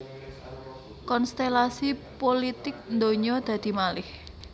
Konstèlasi pulitik ndonyo dadi malèh